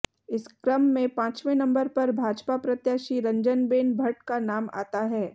इस क्रम में पाँचवें नंबर पर भाजपा प्रत्याशी रंजनबेन भट्ट का नाम आता है